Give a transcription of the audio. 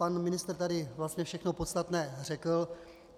Pan ministr tady vlastně všechno podstatné řekl.